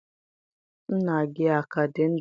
Nna gị a ka dị ndụ?